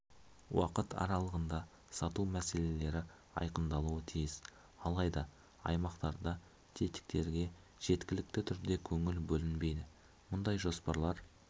уақыт аралығында сату мәселелері айқындалуы тиіс алайда аймақтарда тетіктерге жеткілікті түрде көңіл бөлінбейді мұндай жоспарлар